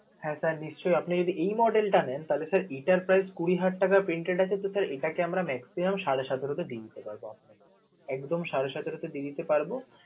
হ্যা sir নিশ্চয়ই, আপনি যদি এই model টা নেন তাহলে sir এটার price কুড়ি হাজার টাকা pinted আছে তো sir এটাকে আমরা maxium আমরা সাড়ে সাতেরো হাজার টাকা দিতে পারব আমরা, একদম সাড়ে সতেরোতে দিয়ে দিতে পারব.